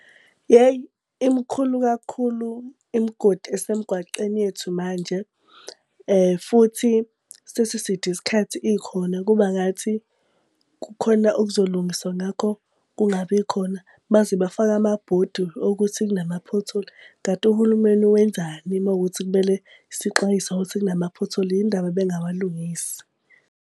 Yeyi imikhulu kakhulu imgodi esemgwaceni yethu manje. Futhi sesiside isikhathi ikhona kuba ngathi kukhona okuzolungiswa ngakho kungabi khona. Baze bafake amabhodi okuthi kunama-pothole. Kanti uhulumeni wenzani uma kuwukuthi kumele sixwayiswe ngokuthi kunama-pothole, yini ndaba bengawalungisi.?